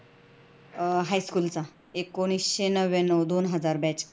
अह high school एकोणीशे नव्व्याणव दोन हजार batch